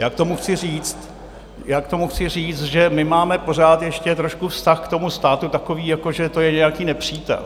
Já k tomu chci říct, že máme pořád ještě trošku vztah k tomu státu takový, jako že to je nějaký nepřítel.